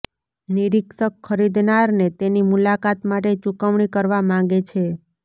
નિરીક્ષક ખરીદનારને તેની મુલાકાત માટે ચૂકવણી કરવા માગે છે